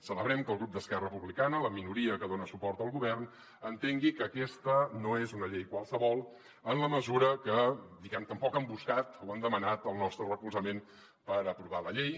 celebrem que el grup d’esquerra republicana la minoria que dona suport al govern entengui que aquesta no és una llei qualsevol en la mesura que diguem ne tampoc han buscat o han demanat el nostre recolzament per aprovar la llei